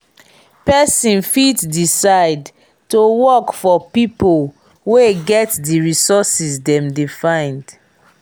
persin fit decide to work for pipo wey get di resources dem de find